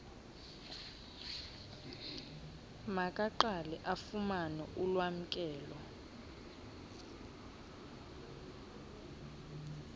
makaqale afumane ulwamkelo